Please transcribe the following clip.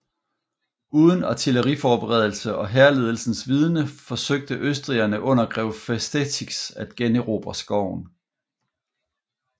Uden artilleriforberedelse og hærledelsens vidende forsøgte østrigerne under grev Festetics at generobre skoven